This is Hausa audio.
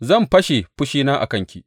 Zan fashe fushina a kanki.